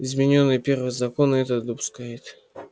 изменённый первый закон это допускает